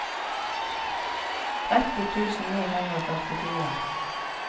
tretti tusen ni hundre og førtifire